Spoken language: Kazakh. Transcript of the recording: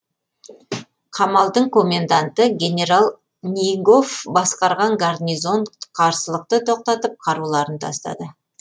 қамалдың коменданты генерал нигоф басқарған гарнизон қарсылықты тоқтатып қаруларын тастады